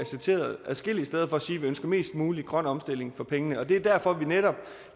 citeret adskillige steder for at sige at vi ønsker mest mulig grøn omstilling for pengene det er derfor vi netop